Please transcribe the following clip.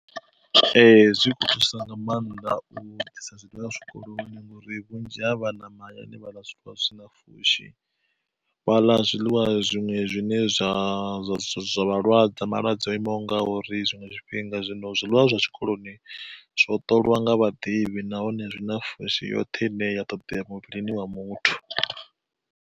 Ee zwi kho thusa nga maanḓa u ḓisa zwiḽiwa zwikoloni, ngori vhunzhi ha vhana mahayani vha ḽa zwiḽiwa zwisina pfushi. Vha ḽa zwiḽiwa zwiṅwe zwine zwa zwa vhalwadza zwa malwadze o imaho ngauri, tshiṅwe tshifhinga zwino zwiḽiwa zwa tshikoloni zwo ṱoliwa nga vhaḓivhi nahone zwi na pfushi yoṱhe ine ya ṱoḓea muvhilini wa muthu.